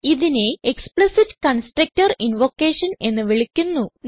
ഇതിനെ explicit constructor invocation എന്ന് വിളിക്കുന്നു